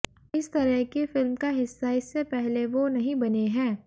इस तरह की फिल्म का हिस्सा इससे पहले वो नहीं बने है